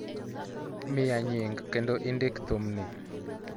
miya nying kendo indik thum ni